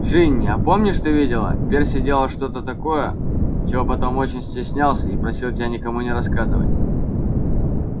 джинни а помнишь ты видела перси делал что-то такое чего потом очень стеснялся и просил тебя никому не рассказывать